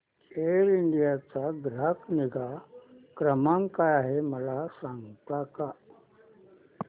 air India चा ग्राहक निगा क्रमांक काय आहे मला सांगता का